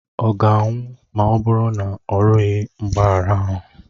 Ọ ga-anwụ ma ọ bụrụ na ọ rịọghị mgbaghara ahụ?